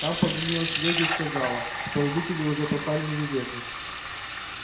там позвонила серёге и сказала что родители уже поставлены в известность